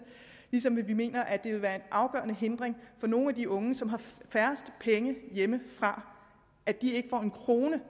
ligesom vi mener at det vil være en afgørende hindring for nogle af de unge som har færrest penge hjemmefra at de ikke får en krone